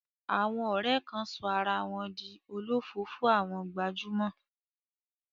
Àwọn ọ̀rẹ́ kan sọ ara wọn di olofoofo àwọn gbajúmọ̀.